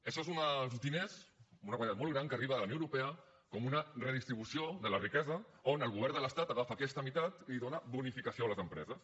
això són uns diners una quantitat molt gran que arriba de la unió europea com una redistribució de la riquesa on el govern de l’estat agafa aquesta meitat i dóna bonificació a les empreses